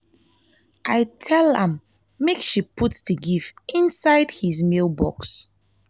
i tell am make she put the gift inside his mail box